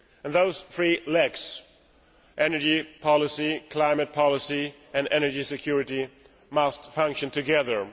Those three legs energy policy, climate policy and energy security must function together.